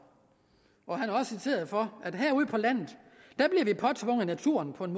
han er også citeret for at vi påtvunget naturen på en